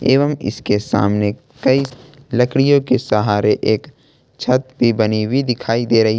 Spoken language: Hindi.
एवं इसके सामने कई लकड़ियों के सहारे एक छत भी बनी हुई दिखाई दे रही--